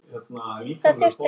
Það þurfti ekki.